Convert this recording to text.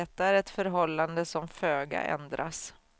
Detta är ett förhållande som föga ändras.